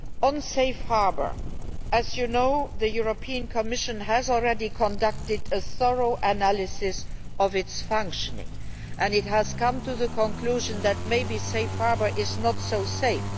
On Safe Harbour as you know, the European Commission has already conducted a thorough analysis of its functioning, and it has come to the conclusion that Safe Harbour may not be so safe.